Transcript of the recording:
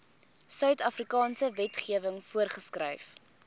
suidafrikaanse wetgewing voorgeskryf